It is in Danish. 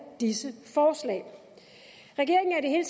disse forslag regeringen